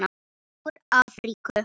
Úr Afríku!